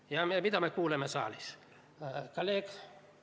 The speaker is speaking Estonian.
Ja mida me kuulsime saalis?